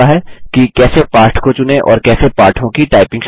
कि कैसे पाठ को चुनें और कैसे पाठों की टाइपिंग शुरू करें